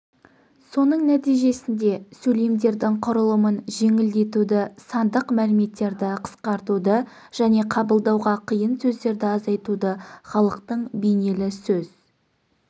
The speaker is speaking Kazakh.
соның нәтижесінде сөйлемдердің құрылымын жеңілдетуді сандық мәліметтерді қысқартуды және қабылдауға қиын сөздерді азайтуды халықтың бейнелі сөз